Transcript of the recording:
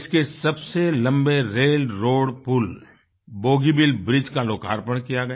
देश के सबसे लम्बे रेलरोड पुल बोगीबील ब्रिज का लोकार्पण किया गया